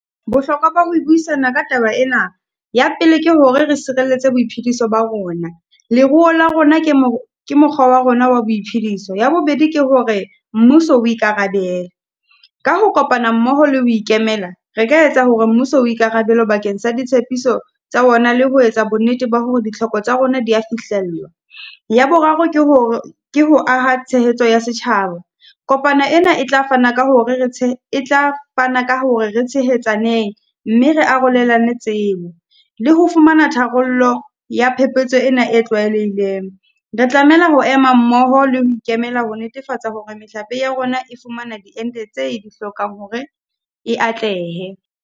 Bohlokwa ba ho buisana ka taba ena, ya pele ke hore re sireletse boiphediso ba rona. Leruo la rona ke mo mokgwa wa rona wa boiphediso. Ya bobedi ke hore mmuso o ikarabele, ka ho kopana mmoho le ho ikemela re ka etsa hore mmuso ikarabele bakeng sa ditshepiso tsa ona le ho etsa bonnete ba hore ditlhoko tsa rona di ya fihlellwa. Ya boraro ke hore ke ho aha tshehetso ya setjhaba. Kopana ena e tla fana ka hore re e tla fana ka hore re tshehetsaneng mme re arolelane tsebo. Le ho fumana tharollo ya phephetso ena e tlwaelehileng. Re tlamela ho ema mmoho le ho ikemela ho netefatsa hore mehlape ya rona e fumana di ente tse e di hlokang hore e atlehe.